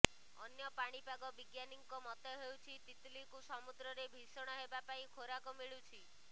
ଅନ୍ୟ ପାଣିପାଗ ବିଜ୍ଞାନୀଙ୍କ ମତ େହଉଛି ତିତଲିକୁ ସମୁଦ୍ରରେ ଭୀଷଣ ହେବା ପାଇଁ େଖାରାକ ମିଳୁଛି